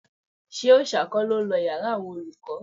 Ṣé Òòṣà kọ́ ló lọ yàrá àwọn olùkọ́